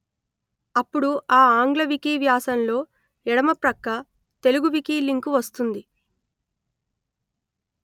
అప్పుడు ఆ ఆంగ్ల వికీ వ్యాసంలో ఎడమ ప్రక్క తెలుగు వికీ లింకు వస్తుంది